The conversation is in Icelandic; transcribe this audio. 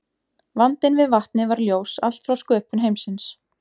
Vandinn við vatnið var ljós allt frá sköpun heimsins.